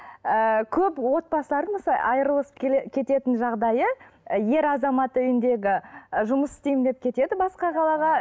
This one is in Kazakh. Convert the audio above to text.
ыыы көп отбасылардың мысалы айырылысып кететін жағдайы ер азамат үйіндегі ы жұмыс істеймін деп кетеді басқа қалаға